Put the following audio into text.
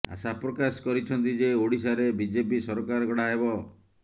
ଆଶା ପ୍ରକାଶ କରିଛନ୍ତି ଯେ ଓଡ଼ିଶାରେ ବିଜେପି ସରକାର ଗଢ଼ା ହେବ